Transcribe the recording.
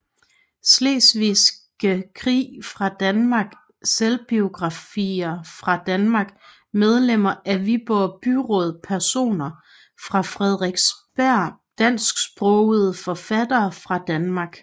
Slesvigske Krig fra Danmark Selvbiografer fra Danmark Medlemmer af Viborg Byråd Personer fra Frederiksberg Dansksprogede forfattere fra Danmark